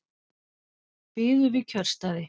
Biðu við kjörstaði